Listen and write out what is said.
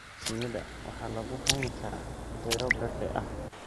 Shinida waxaa lagu hayn karaa beero berde ah.